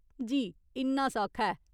जी, इन्ना सौखा ऐ।